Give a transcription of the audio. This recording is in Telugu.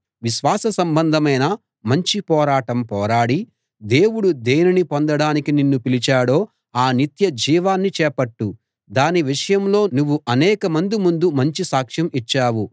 విశ్వాస సంబంధమైన మంచి పోరాటం పోరాడి దేవుడు దేనిని పొందడానికి నిన్ను పిలిచాడో ఆ నిత్యజీవాన్ని చేపట్టు దాని విషయంలో నువ్వు అనేకమంది ముందు మంచి సాక్ష్యం ఇచ్చావు